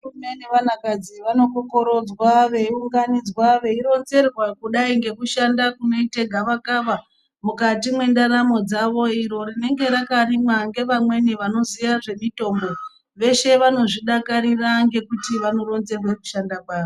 Vakomana nevanakadzi vanokokorodzwa veiunganidzwa veironzerwa kudai ngekushanda kunoita gavakava mukati mwendaramo dzavo iro rinenge rakarimwa ngevamweni vanoziya zvemitombo. Veshe vanozvidakarira ngekuti vanoronzerwa kushanda kwaro.